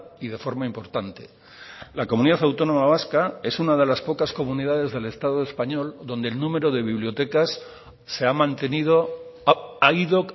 y de forma importante la comunidad autónoma vasca es una de las pocas comunidades del estado español donde el número de bibliotecas se ha mantenido ha ido